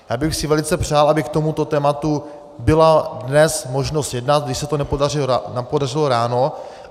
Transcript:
Já bych si velice přál, aby k tomuto tématu byla dnes možnost jednat, když se to nepodařilo ráno.